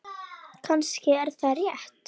Kannski er það rétt.